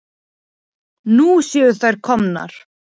Nú séu þær komnar.